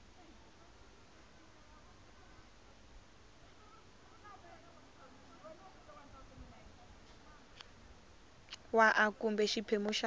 wa a kumbe xiphemu xa